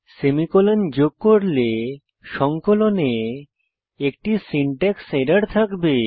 semicolon যোগ করলে সংকলনে একটি সিনট্যাক্স এরর থাকবে